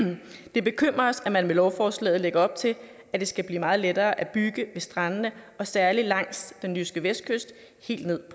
det bekymrer os at man med lovforslaget lægger op til at det skal blive meget lettere at bygge ved strandene særlig langs den jyske vestkyst og helt ned